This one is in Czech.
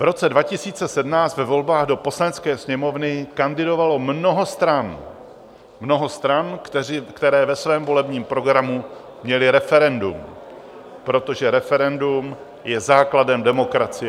V roce 2017 ve volbách do Poslanecké sněmovny kandidovalo mnoho stran, mnoho stran, které ve svém volebním programu měly referendum, protože referendum je základem demokracie.